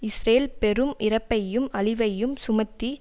Israel பெரும் இறப்பையும் அழிவையும் சுமத்தி